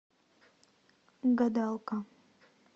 гадалка